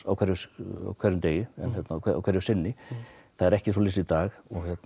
á hverjum hverjum degi og hverju sinni það er ekki svoleiðis í dag